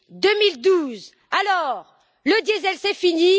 2012. Alors, le diesel c'est fini.